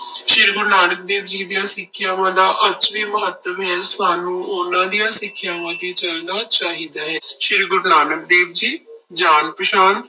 ਸ੍ਰੀ ਗੁਰੂ ਨਾਨਕ ਦੇਵ ਜੀ ਦੀਆਂ ਸਿੱਖਿਆਵਾਂ ਦਾ ਅੱਜ ਵੀ ਮਹੱਤਵ ਹੈ, ਸਾਨੂੰ ਉਹਨਾਂ ਦੀਆਂ ਸਿੱਖਿਆਵਾਂ ਤੇ ਚੱਲਣਾ ਚਾਹੀਦਾ ਹੈ, ਸ੍ਰੀ ਗੁਰੂ ਨਾਨਕ ਦੇਵ ਜੀ ਜਾਣ ਪਛਾਣ